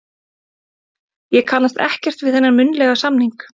Ég kannast ekkert við þennan munnlega samning.